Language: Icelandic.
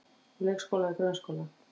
Úr leikskóla í grunnskóla